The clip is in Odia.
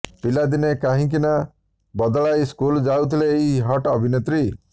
ପିଲାଦିନେ କାହିଁକି ନାଁ ବଦଳାଇ ସ୍କୁଲ୍ ଯାଉଥିଲେ ଏହି ହଟ୍ ଅଭିନେତ୍ରୀ